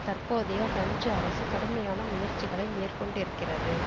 தற்போதைய பிரெஞ்சு அரசு கடுமையான முயற்சிகளை மேற்கொண்டிருக்கிறது